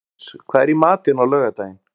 Oktavíus, hvað er í matinn á laugardaginn?